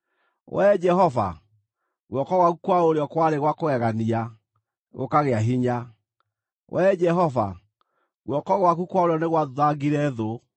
“Wee Jehova, guoko gwaku kwa ũrĩo kwarĩ gwa kũgegania, gũkagĩa hinya. Wee Jehova, guoko gwaku kwa ũrĩo nĩ gwathuthangire thũ.